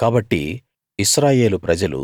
కాబట్టి ఇశ్రాయేలు ప్రజలు